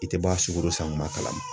I tɛ bɔ a sukoro san kuma kalama.